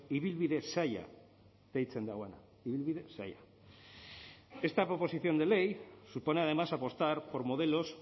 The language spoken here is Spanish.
ibilbide zaila deitzen duena ibilbide zaila esta proposición de ley supone además apostar por modelos